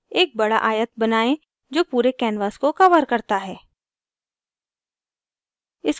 एक बड़ा आयत बनाएं जो पूरे canvas को covers करता है